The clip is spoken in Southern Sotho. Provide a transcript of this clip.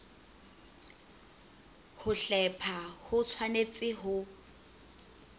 ho hlepha ho tshwanetse ho